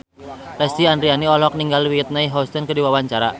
Lesti Andryani olohok ningali Whitney Houston keur diwawancara